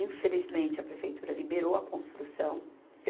Infelizmente, a prefeitura liberou a construção.